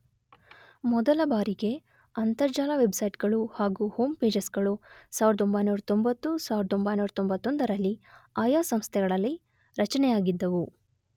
ಮೊದಲ ಬಾರಿಗೆ ಅಂತರ್ಜಾಲ ವೆಬ್ಸೈಟ್ ಗಳು ಹಾಗು ಹೋಂ ಪೇಜಸ್ ಗಳು ೧೯೯೦, ೧೯೯೧ರಲ್ಲಿ ಆಯಾ ಸಂಸ್ಥೆಗಳಲ್ಲಿ ರಚನೆಯಾಗಿದ್ದವು